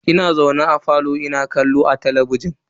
Ina zaune a falo ina kallo a talabijin.